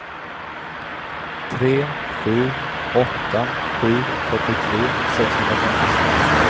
tre sju åtta sju fyrtiotre sexhundrafemtiosex